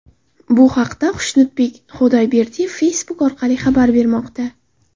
Bu haqda Xushnudbek Xudayberdiyev Facebook orqali xabar bermoqda .